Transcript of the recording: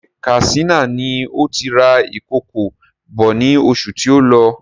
Ṣé Katsina ni òti rà ìkòkò bọ̀ ní oṣù tí o lọ?